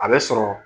A bɛ sɔrɔ